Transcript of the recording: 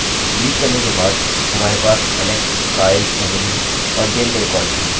delete करने के बाद हमारे पास alex kyle emily और dale के रिकार्डस हैं